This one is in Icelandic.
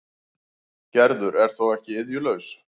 Gerður er þó ekki iðjulaus.